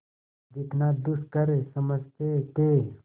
जितना दुष्कर समझते थे